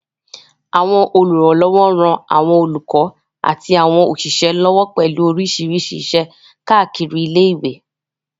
Àwọn olùrànlọ́wọ́ ń ran àwọn olùkọ́ àti àwọn òṣìṣẹ́ lọ́wọ́ pẹ̀lú oríṣiríṣi iṣẹ́ káàkiri ilé ìwé